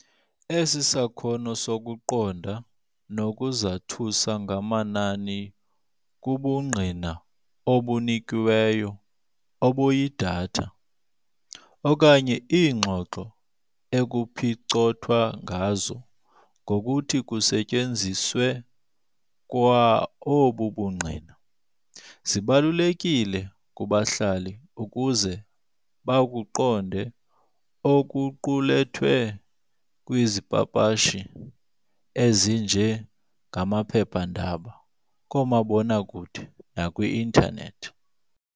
Esi sakhono sokuqonda nokuzathuza ngamanani kubungqina obunikiweyo, obuyi-data, okanye iingxoxo ekuphicothwa ngazo ngokuthi kusetyenziswe kwa obu bungqina, zibalulekile kubahlali ukuze bakuqonde okuqulethwe kwizipapashi ezinje ngamaphepandaba, koomabonakude, nakwi-internet.